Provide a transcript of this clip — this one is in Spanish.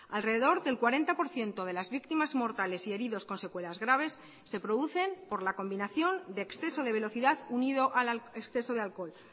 alrededor del cuarenta por ciento de las víctimas mortales y heridos con secuelas graves se producen por la combinación de exceso de velocidad unido al exceso de alcohol